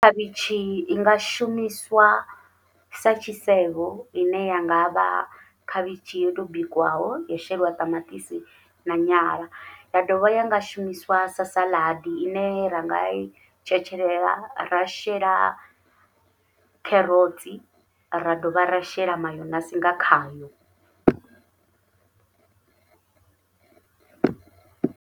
Khavhishi inga shumiswa sa tshisevho ine ya nga vha khavhishi yo to bikiwaho yo shelwa ṱamaṱisi na nyala, ya dovha ya nga shumiswa sa saḽadi ine ranga i tshetshelela ra shela kherotsi ra dovha ra shela mayonasi nga khayo.